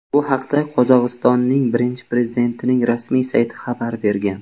Bu haqda Qozog‘istonning birinchi prezidentining rasmiy sayti xabar bergan .